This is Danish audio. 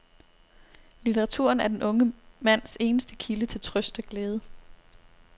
Litteraturen er den unge mands eneste kilde til trøst og glæde.